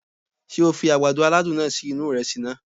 Sé o fi àgbàdo aládùn náà sí inú ìresì naa?